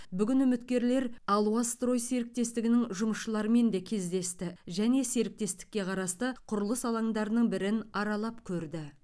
бүгін үміткерлер алуа строй серіктестігінің жұмысшыларымен де кездесті және серіктестікке қарасты құрылыс алаңдарының бірін аралап көрді